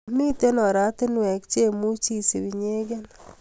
Miten oratunwek chemuch isub inyegen